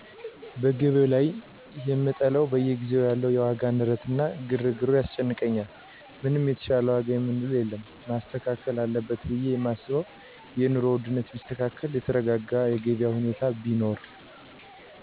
በገቢያዉ ላይ የምጠላዉ በየጊዜዉ ያለዉ የዋጋ ንረት እና ግርግሩ ያስጨንቀኛል ምንም የተሻለ ዋጋ የምንለዉ የለም መስተካከል አለበት ብየ የማስበዉ የኑሮ ዉድነቱ ቢስተካከል የተረጋጋ የገቢያ ሁኔታ ቢኖር